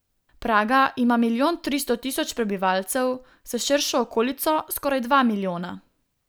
Praga ima milijon tristo tisoč prebivalcev, s širšo okolico skoraj dva milijona.